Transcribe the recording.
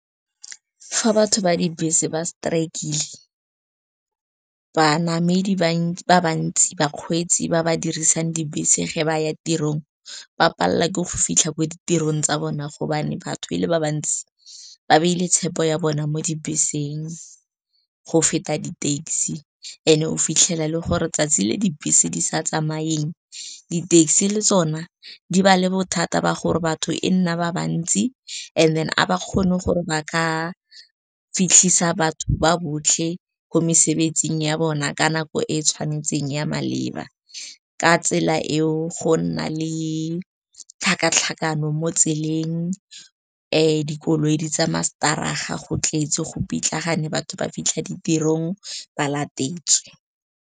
Fa batho ba dibese ba strike-ile, ba namedi ba bantsi bakgweetsi ba ba dirisang dibese ge ba ya tirong ba palelwa ke go fitlha ko ditirong tsa bona, gobane batho e le ba bantsi ba baile tshepo ya bona mo dibeseng go feta di-taxi. And-e o fitlhele e le gore 'tsatsi le dibese di sa tsamayeng, di-taxi le tsona di ba le bothata ba gore batho e nna ba bantsi, and then ga ba kgone gore ba ka fitlhisa batho ba botlhe ko mosebetsing ya bona ka nako e e tshwanetseng ya maleba. Ka tsela eo go nna le tlhakatlhakano mo tseleng, dikoloi di tsamaya stadig-a, go tletse, go pitlagana, batho ba fitlha ditirong ba latetswe.